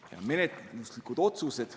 Ja menetluslikud otsused.